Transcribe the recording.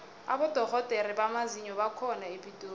abodorhodere bamazinyo bakhona epitori